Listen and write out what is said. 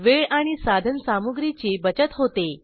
वेळ आणि साधनसामुग्रीची बचत होते